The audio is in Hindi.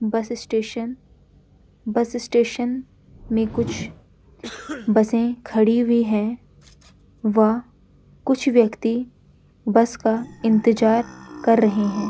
बस स्टेशन बस स्टेशन में कुछ बसे खड़ी हुई हैं व कुछ व्यक्ति बस का इंतज़ार कर रहे हैं।